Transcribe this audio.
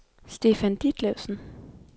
Stefan Ditlevsen